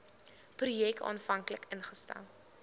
projek aanvanklik ingestel